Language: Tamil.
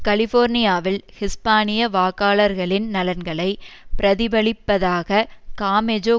கலிபோர்னியாவில் ஹிஸ்பானிய வாக்காளர்களின் நலன்களை பிரதிபலிப்பதாகக் காமெஜோ